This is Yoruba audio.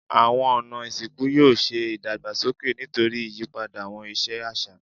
Awọn ọna isinku yoo ṣe idagbasoke nitori iyipada awọn iṣe aṣa